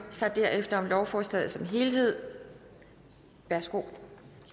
sig derefter om lovforslaget som helhed værsgo